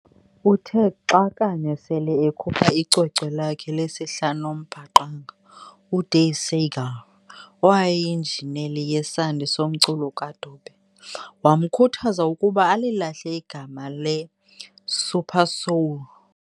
Uthe xa kanye sele ekhupha icwecwe lakhe lesihlanu loMbaqanga, uDave Segal, owayeyinjineli yesandi somculo kaDube, wamkhuthaza ukuba alilahle igama le"Supersoul".